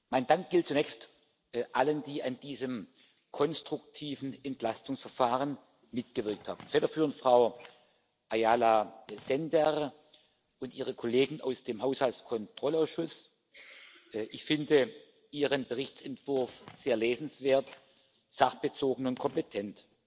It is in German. Mein Dank gilt zunächst allen, die an diesem konstruktiven Entlastungsverfahren mitgewirkt haben, federführend Frau Ayala Sender und ihre Kollegen aus dem Haushaltskontrollausschuss. Ich finde Ihren Berichtsentwurf sehr lesenswert, sachbezogen und kompetent.